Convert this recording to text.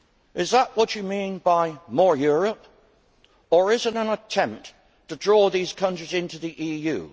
Is that what you mean by more Europe or is it an attempt to draw these countries into the EU?